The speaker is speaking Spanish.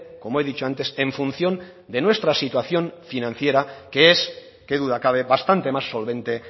como he dicho antes en función de nuestra situación financiera que es qué duda cabe bastante más solvente